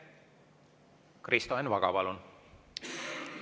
Kristo Enn Vaga, palun!